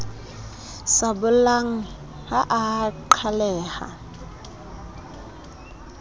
sa bollang ha a qhaleha